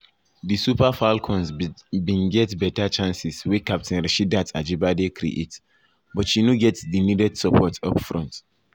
di super falcons bin get beta chances wey captain rasheedat ajibade create but she no get di needed support upfront.